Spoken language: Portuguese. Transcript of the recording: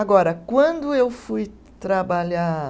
Agora, quando eu fui trabalhar